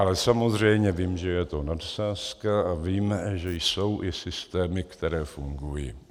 Ale samozřejmě vím, že je to nadsázka, a vím, že jsou i systémy, které fungují.